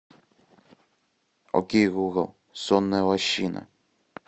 окей гугл сонная лощина